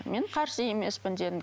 мен қарсы емеспін дедім